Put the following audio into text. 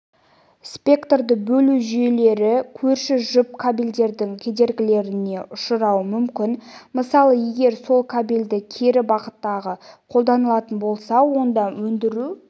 спектрді бөлу жүйелері көрші жұп кабельдердің кедергілеріне ұшырауы мүмкін мысалы егер сол кабельде кері бағыттағы қолданылатын болса онда өндіру